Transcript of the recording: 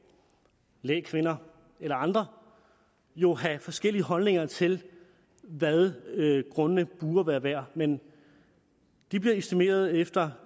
lægkvinder eller andre jo have forskellige holdninger til hvad grundene burde være værd men de bliver estimeret efter